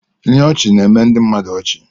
Ihe ọchị na-eme ndị mmadụ ọchị.